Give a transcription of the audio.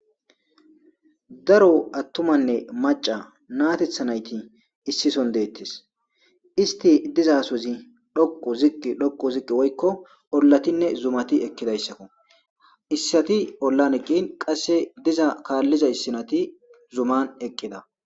daro attumanne maca natetha nayti issi son deettes. isti dizasozi dhokqu ziqi dhokqu ziqi woykko ollatinne zumati ekkidassakko. issati ollaneka qasse diza kaallizaysati zuman eqqida.